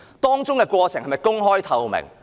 當中的過程是否公開、透明？